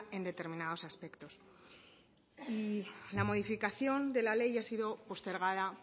en determinados aspectos y la modificación de la ley ha sido postergada